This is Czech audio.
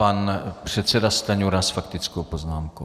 Pan předseda Stanjura s faktickou poznámkou.